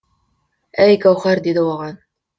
әй гауһар деді оған